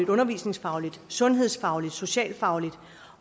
undervisningsfagligt sundhedsfagligt og socialfagligt